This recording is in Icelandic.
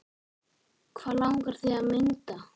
Hvað langar þig að mynda?